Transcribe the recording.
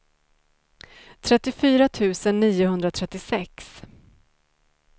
trettiofyra tusen niohundratrettiosex